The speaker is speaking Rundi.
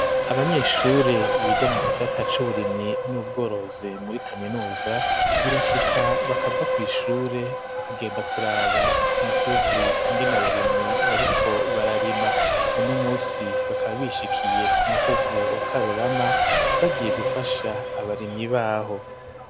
Abanyeshure biga mu gisata c'uburimyi n'ubworozi muri kaminuza birashika bakava kw'ishure bakagenda kuraba ku misozi ingena abarimyi bariko bararima uno musi bakaba bishikiye ku musozi wa Karurama bagiye gufasha abarimyi baho.